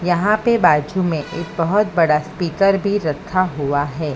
यहां पे बाजू में एक बहोत बड़ा स्पीकर भी रखा हुआ है।